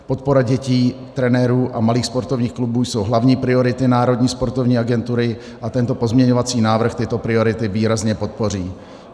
Podpora dětí, trenérů a malých sportovních klubů jsou hlavní priority Národní sportovní agentury a tento pozměňovací návrh tyto priority výrazně podpoří.